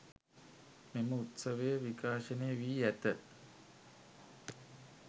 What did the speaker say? මෙම උත්සවය විකාශනය වී ඇත